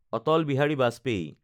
Atal Bihari Vajpayee